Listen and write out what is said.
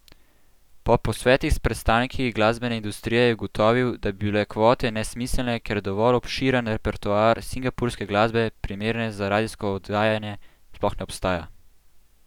Po posvetih s predstavniki glasbene industrije je ugotovil, da bi bile kvote nesmiselne, ker dovolj obširen repertoar singapurske glasbe, primerne za radijsko oddajanje, sploh ne obstaja!